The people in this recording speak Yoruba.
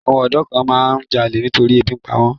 Àwọn ọ̀dọ́ kan máa ń jalè nítorí pé ebi ń pa wọ́n.